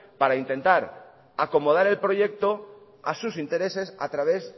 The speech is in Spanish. para intentar acomodar el proyecto a sus intereses a través